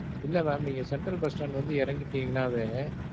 இல்ல mam. நீங்க central bus stand வந்து எறங்கிட்டிங்கனாவே